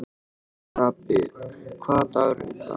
Stapi, hvaða dagur er í dag?